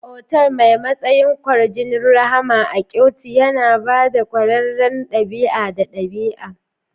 Otal mai matsayin kwarjinin rahama a Kyoto yana ba da ƙwarewar ɗabi'a da ɗabi'a.